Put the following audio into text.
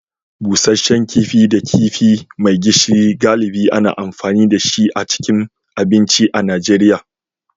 Busasshen kifi da kifi mai gishiri, galibi ana amfani da shi a cikin abincin Najeriya.